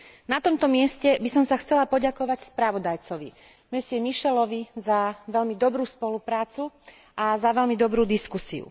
Na tomto mieste by som sa chcela poďakovať spravodajcovi, pánovi Michelovi, za veľmi dobrú spoluprácu a za veľmi dobrú diskusiu.